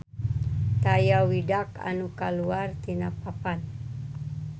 Taya widak anu kaluar tina papan